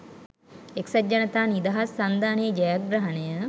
එක්සත් ජනතා නිදහස් සන්ධානයේ ජයග්‍රහණය